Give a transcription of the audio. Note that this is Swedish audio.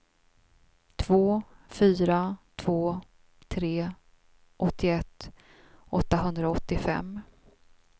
två fyra två tre åttioett åttahundraåttiofem